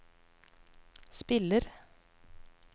spiller